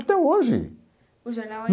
Até hoje. O jornal